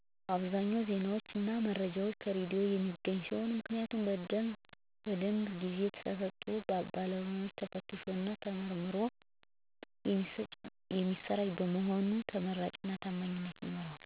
በአብዛኛው ዜናዎችን እና መረጃዎችን ከሬዲዮ የማገኝ ሲሆን ምክንያቱም በደንብ ጊዜ ተሰጥቶበት በባለሙያዎች ተፈትሾ እና ተመርምሮ የሚሰራጭ በመሆኑ ይበልጥ ተመራጭ እና ታማኝ ያደርገዋል።